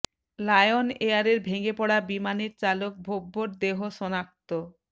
lion এয়ারের ভেঙে পড়া বিমানের চালক ভব্যর দেহ শনাক্ত